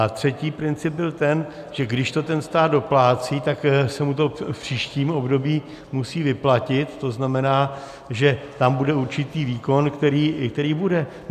A třetí princip byl ten, že když to ten stát doplácí, tak se mu to v příštím období musí vyplatit, tzn. tam bude určitý výkon, který bude.